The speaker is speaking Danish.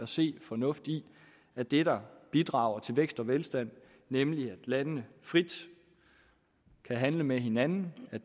se fornuft i at det der bidrager til vækst og velstand nemlig at landene frit kan handle med hinanden